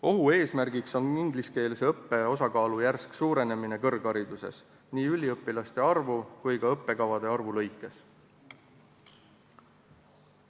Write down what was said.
Ohuks on ingliskeelse õppe osakaalu järsk suurenemine kõrghariduses nii üliõpilaste arvu kui ka õppekavade arvu lõikes.